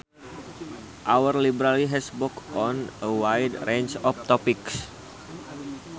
Our library has books on a wide range of topics